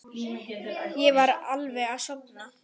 Ég var alveg að sofna.